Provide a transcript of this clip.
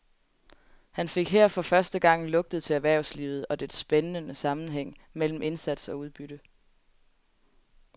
Han fik her for første gang lugtet til erhvervslivet og dets spændende sammenhæng mellem indsats og udbytte.